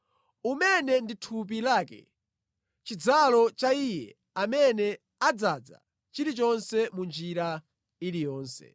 umene ndi thupi lake, chidzalo cha Iye amene adzaza chilichonse mu njira iliyonse.